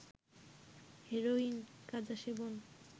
heroin, গাঁজা সেবন